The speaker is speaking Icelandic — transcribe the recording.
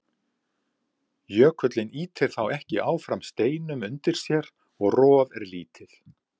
Jökullinn ýtir þá ekki áfram steinum undir sér og rof er lítið.